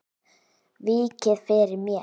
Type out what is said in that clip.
Víkið fyrir mér.